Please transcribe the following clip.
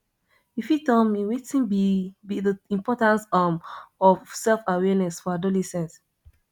you fit tell me wetin be be di importance um of selfawareness for adolescents